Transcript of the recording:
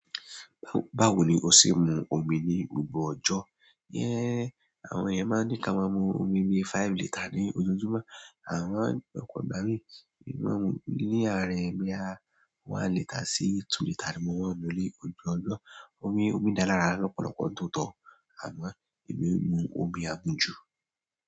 Báwo ni o ṣe mu omi ní gbogbo ọjọ́? Iyẹ́n àwọn ẹyan máa ń ní ká máa mu omi bí five litre ní ojoojúmọ́ àmo ni ọpọ ìgbà mí, èmi máa ń mu ní àárín boya one litres sí two litre ni mo máa ń mu ni ojoọjumo. Omi, omi dáa lárá lọ́pọ̀lọpọ̀ ntóotọ́ àmọ́ èmi e mu omi àmùjú.